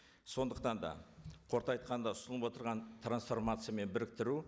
сондықтан да қорыта айтқанда ұсынылып отырған трансформация мен біріктіру